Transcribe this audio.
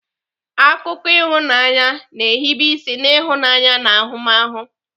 Akụkọ ịhụnanya na-ehibe isi n'ịhụnanya na ahụmahụ.